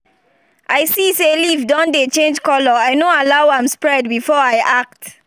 i see say leaf don dey change colour i no allow am spread before i act